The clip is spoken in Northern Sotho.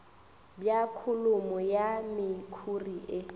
bja kholomo ya mekhuri e